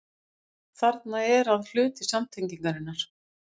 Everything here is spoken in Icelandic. Þarna er að hluti samtengingarinnar.